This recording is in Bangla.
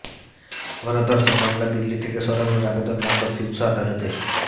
গণধর্ষণ মামলা দিল্লি থেকে সরানোর আবেদন নাকচ শীর্ষ আদালতের